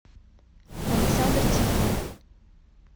александр тихонов